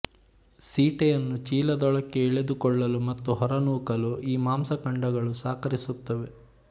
ಸೀಟೆಯನ್ನು ಚೀಲದೊಳಕ್ಕೆ ಎಳೆದುಕೊಳ್ಳಲು ಮತ್ತು ಹೊರನೂಕಲು ಈ ಮಾಂಸಖಂಡಗಳು ಸಹಕರಿಸುತ್ತವೆ